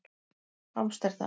Amsterdam